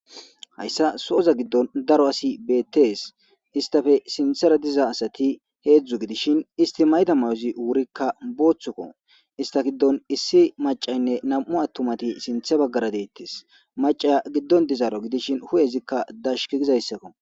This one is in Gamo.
Hayssa so'oza giddon daro asi beettees istafe sinthera diza asati heedzdzu gidishin isti mayta mayozi wurikka booththokko ista giddon issi macaynne nam'u attumati sinthe baggara deettes macaya giddon dizaaro gidishin hu'ezikka dashki gizayssakko.